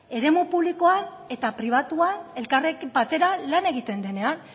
eremu publikoan eta pribatuan elkarrekin batera lan egiten denean